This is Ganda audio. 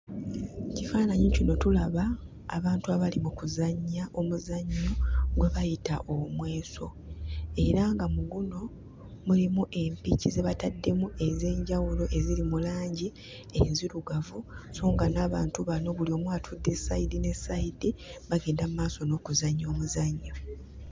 Mu kifaananyi kino tulaba abantu abali mu kuzannya omuzannyo gwe bayita omweso era nga mu guno mulimu empiki ze bataddemu ez'enjawulo eziri mu langi enzirugavu sso nga n'abantu bano buli omu atudde sayidi ne sayidi bagenda mmaaso n'okuzannya omuzannyo.